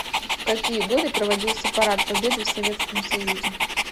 в какие годы проводился парад победы в советском союзе